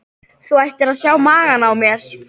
Þú ættir að sjá magann á mér.